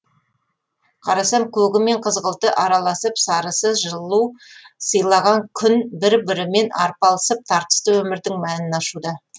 қарасам көгі мен қызғылты араласып сарысы жылу сыйлаған күн бір бірімен арпалысып тартысты өмірдің мәнін ашуда